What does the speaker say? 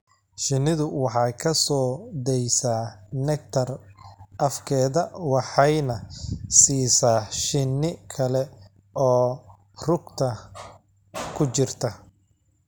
Shinnidu waxay ka soo daysaa nectar afkeeda waxayna siisaa shinni kale oo rugta ku jirta.